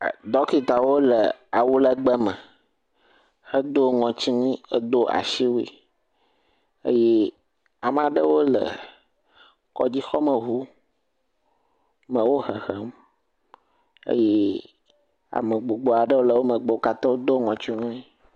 Ɖɔkitawo le awu legbe me, hedo ŋɔtiwui, hedo asiwui, eye ame aɖewo le kɔdzixɔme ŋu me wohehem eye ame gbogbowo aɖewo le wo megbe, wo katã wodo ŋɔtiwui.